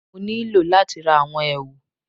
Mo nílò láti ra àwọn èwù